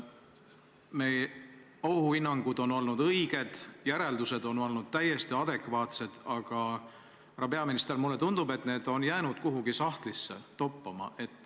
Meie ohuhinnangud on olnud õiged, järeldused on olnud täiesti adekvaatsed, aga, härra peaminister, mulle tundub, et need on jäänud kuhugi sahtlisse toppama.